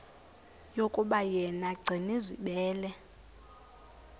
yokuba yena gcinizibele